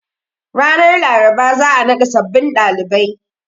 Ranar Laraba za a naɗa sabbin ɗalibai.